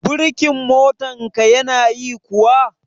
Birkin motar ka ya na yi kuwa?